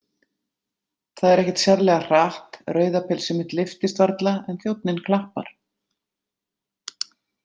Það er ekkert sérlega hratt, rauða pilsið mitt lyftist varla, en þjónninn klappar.